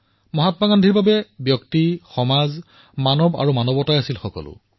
মহাত্মা গান্ধীৰ বাবে ব্যক্তি আৰু সমাজ মানৱ আৰু মানৱতা এয়াই সকলো আছিল